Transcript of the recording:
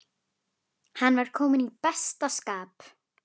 Hann var kominn í besta skap.